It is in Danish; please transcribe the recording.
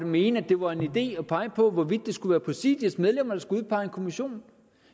mene at det var en idé at pege på hvorvidt det skulle være præsidiets medlemmer der skulle udpege en kommission